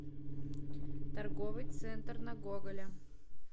торговый центр на гоголя